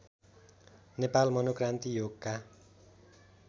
नेपाल मनोक्रान्ति योगका